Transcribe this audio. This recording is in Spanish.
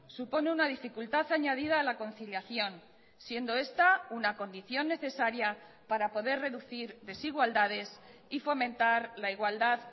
supone una dificultad añadida a la conciliación siendo esta una condición necesaria para poder reducir desigualdades y fomentar la igualdad